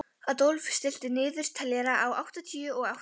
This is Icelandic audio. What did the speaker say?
Adolf, stilltu niðurteljara á áttatíu og átta mínútur.